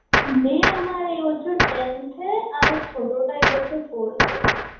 মেয়ে আমার এই বছর tenth এ আর ছোটটা এই বছর fourth এ.